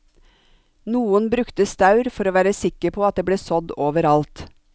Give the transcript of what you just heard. Noen brukte staur for å være sikker på at det ble sådd over alt.